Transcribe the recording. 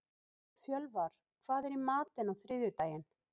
Fjölvar, hvað er í matinn á þriðjudaginn?